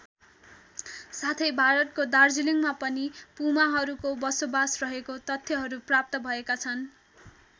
साथै भारतको दार्जिलिङमा पनि पुमाहरूको बसोबास रहेको तथ्यहरू प्राप्त भएका छन्।